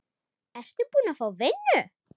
Ertu búin að fá vinnu?